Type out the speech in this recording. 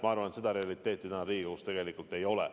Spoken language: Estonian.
Ma arvan, et seda võimalust reaalselt täna Riigikogus tegelikult ei ole.